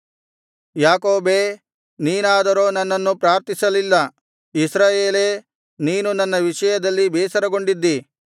ಯಾಕೋಬೇ ನೀನಾದರೋ ನನ್ನನ್ನು ಪ್ರಾರ್ಥಿಸಲಿಲ್ಲ ಇಸ್ರಾಯೇಲೇ ನೀನು ನನ್ನ ವಿಷಯದಲ್ಲಿ ಬೇಸರಗೊಂಡಿದ್ದಿ